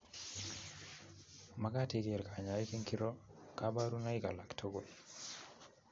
Makat ikeer konyoik ngiiro kaparunoik alaktugul